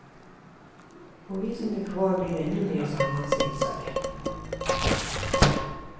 Och vi som är kvar blir ännu mera sammansvetsade.